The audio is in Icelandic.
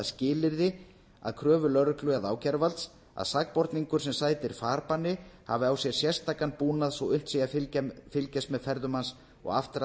skilyrði að kröfu lögreglu eða ákæruvalds að sakborningur sem sætir farbanni hafi á sér sérstakan búnað svo að unnt sé að fylgjast með ferðum hans og aftra